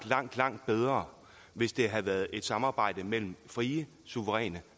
langt langt bedre hvis det havde været et samarbejde mellem frie suveræne